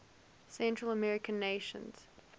central american nations